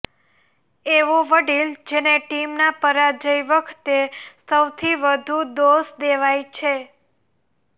એવો વડીલ જેને ટીમના પરાજય વખતે સૌથી વધુ દોષ દેવાય છે